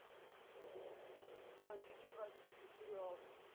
найдите бразильский сериал